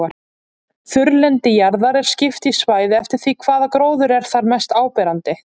Þurrlendi jarðar er skipt í svæði eftir því hvaða gróður er þar mest áberandi.